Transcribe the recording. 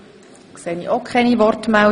Das ist auch nicht der Fall.